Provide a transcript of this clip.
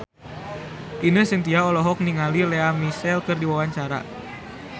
Ine Shintya olohok ningali Lea Michele keur diwawancara